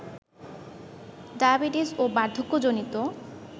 diabetes ও বার্ধক্যজনিত